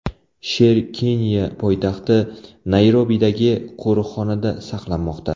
Sher Keniya poytaxti Nayrobidagi qo‘riqxonada saqlanmoqda.